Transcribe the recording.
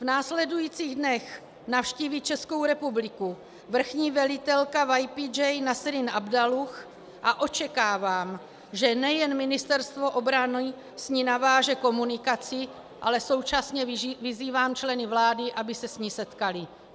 V následujících dnech navštíví Českou republiku vrchní velitelka YPJ Nesrin Abdullah a očekávám, že nejen Ministerstvo obrany s ní naváže komunikaci, ale současně vyzývám členy vlády, aby se s ní setkali.